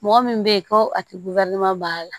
Mɔgɔ min bɛ ye ko a tɛ banna